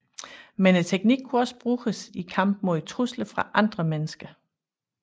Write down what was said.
Men teknikken kunne også bruges i kamp mod trusler fra andre mennesker